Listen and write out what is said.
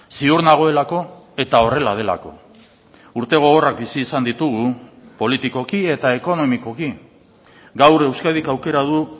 ziur nagoelako eta horrela delako urte gogorrak bizi izan ditugu politikoki eta ekonomikoki gaur euskadik aukera du